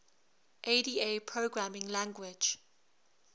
ada programming language